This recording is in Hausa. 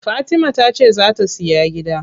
Fatima tace zaa ta siya gida.